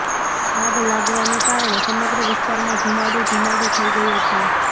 આગ લાગવાને કારણે સમગ્ર વિસ્તારમાં ધુમાડો ધુમાડો થઇ ગયો છે